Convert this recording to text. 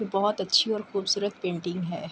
بھوت اچھی اور خوبصورت پینٹنگ ہے۔